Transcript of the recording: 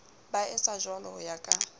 ba etsajwalo ho ya ka